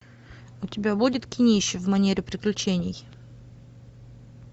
у тебя будет кинище в манере приключений